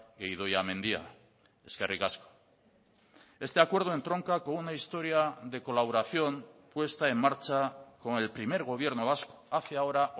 e idoia mendia eskerrik asko este acuerdo entronca con una historia de colaboración puesta en marcha con el primer gobierno vasco hace ahora